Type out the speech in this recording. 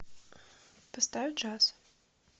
поставь джаз